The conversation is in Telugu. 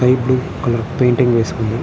స్కై బ్లూ కలర్ పెయింటింగ్ వేసుకుంటున్నారు.